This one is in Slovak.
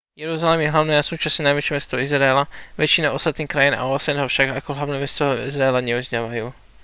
jeruzalem je hlavné a súčasne najväčšie mesto izraela väčšina ostatných krajín a osn ho však ako hlavné mesto izraela neuznávajú